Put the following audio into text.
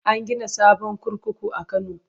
An gina sabon kurkuku a Kano.